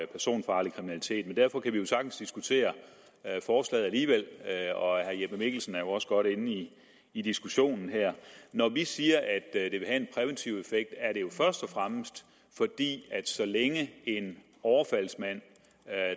personfarlig kriminalitet men derfor kan vi sagtens diskutere og herre jeppe mikkelsen er jo også godt inde i i diskussionen her når vi siger at og fremmest fordi så længe en overfaldsmand